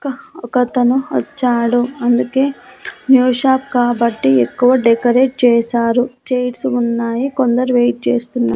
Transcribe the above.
ఒకతను వచ్చాడు అందుకే న్యూ షాప్ కాబట్టి ఎక్కవ డెకరేట్ చేశారు చైర్సు ఉన్నాయి కొందరు వెయిట్ చేస్తున్న--